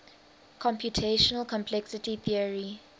computational complexity theory